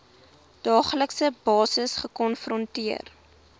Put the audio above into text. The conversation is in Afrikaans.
daaglikse basis gekonfronteer